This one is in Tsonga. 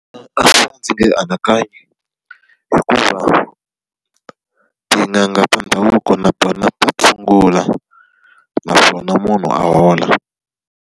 ndzi nge yi anakanyi, hikuva tin'anga ta ndhavuko na tona ta tshungula naswona munhu a hola.